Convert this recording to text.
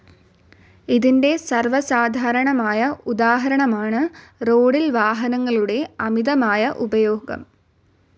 ഇതിന്റെ സർവസാധാരണമായ ഉദാഹരണമാണു റോഡിൽ വാഹനങ്ങളുടെ അമിതമായ ഉപയോഗം.